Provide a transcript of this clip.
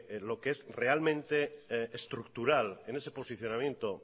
lo que es realmente estructural en ese posicionamiento